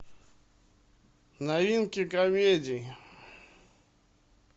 новинки комедий